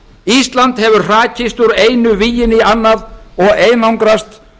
ísland hefur hrakist úr einu víginu í annað og einangrast